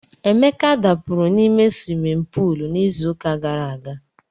Emeka dakpuru n'ime swimin puul n'izuụka gara aga.